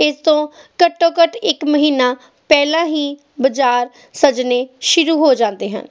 ਇਹ ਤੋਂ ਘੱਟੋਂ ਘਟ ਇੱਕ ਮਹੀਨਾ ਪਹਿਲਾ ਹੀ ਬਜਾਰ ਸਜਨੇ ਸ਼ੁਰੂ ਹੋ ਜਾਂਦੇ ਹਨ